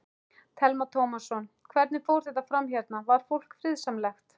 Telma Tómasson: Hvernig fór þetta fram hérna, var fólk friðsamlegt?